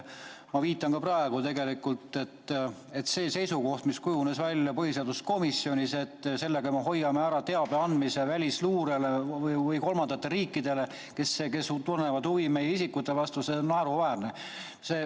Ma viitan ka praegu sellele, et see seisukoht, mis kujunes välja põhiseaduskomisjonis, et sellega me hoiame ära teabe andmise välisluurele või kolmandatele riikidele, kes tunnevad huvi meie isikute vastu – see on naeruväärne.